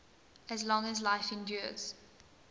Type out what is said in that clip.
as long as life endures